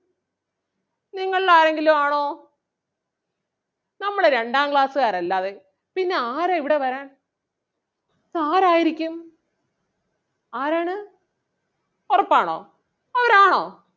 നിങ്ങളിൽ ആരെങ്കിലും ആണോ? നമ്മള് രണ്ടാം class കാർ അല്ലാതെ പിന്നെ ആരാ ഇവിടെ വരാൻ ഇത് ആരാരിക്കും ആരാണ്? ഉറപ്പാണോ അവരാണോ?